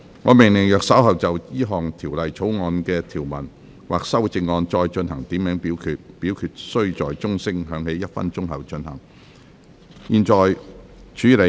我命令若稍後就本條例草案的條文或其修正案進行點名表決，表決須在鐘聲響起1分鐘後進行。